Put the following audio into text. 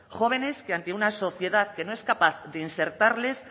jóvenes que ante una sociedad que no es capaz de insertarles